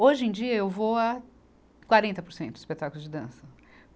Hoje em dia, eu vou a quarenta por cento dos espetáculos de dança.